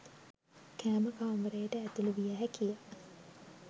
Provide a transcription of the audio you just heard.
කෑම කාමරයට ඇතුළු විය හැකිය.